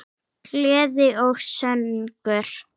Gleði og söngur.